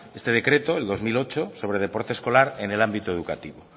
este decreto el dos mil ocho sobre deporte escolar en el ámbito educativo